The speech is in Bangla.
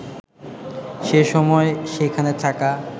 সে সময় সেখানে থাকা